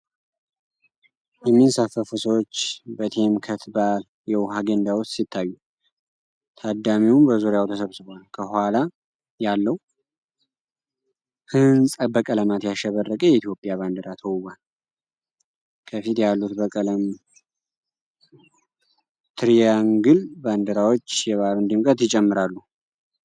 የሚንሳፈፉ ሰዎች በቴምከት በዓል የውኃ ገንዳ ውስጥ ሲታዩ፣ ታዳሚውም በዙሪያው ተሰብስቧል። ከኋላ ያለው ህንፃ በቀለማት ያሸበረቀ የኢትዮጵያ ባንዲራ ተውቧል። ከፊት ያሉት ባለቀለም ትሪያንግል ባንዲራዎች የበዓሉን ድምቀት ይጨምራሉ።